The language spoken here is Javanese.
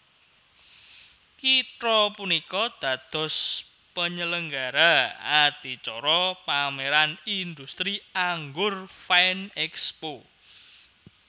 Kitha punika dados panyelenggara adicara pamèran indhustri anggur Vinexpo